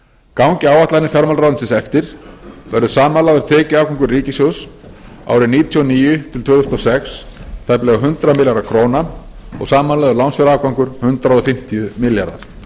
gangi áætlanir fjármálaráðuneytisins eftir verður samanlagður tekjuafgangur ríkissjóðs árin nítján hundruð níutíu og níu til tvö þúsund og sex tæplega hundrað milljarðar króna og samanlagður lánsfjárafgangur hundrað fimmtíu milljarðar